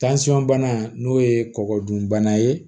bana n'o ye kɔgɔdunbana ye